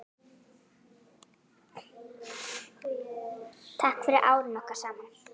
Takk fyrir árin okkar saman.